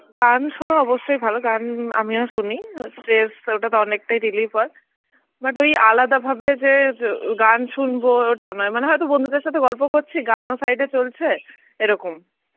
গান শোনা অবশ্যই ভালো, গান আমিও শুনি. stress ওটাতে অনেকটাই relief হয়. but ওই আলাদা ভাবে যে গান শুনবো ওটা নয়. হ্যাঁ হয়তো বন্ধুদের সঙ্গে গল্প করছি গানও সাইডে চলছে, এরকম